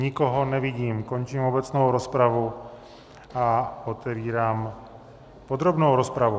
Nikoho nevidím, končím obecnou rozpravu a otevírám podrobnou rozpravu.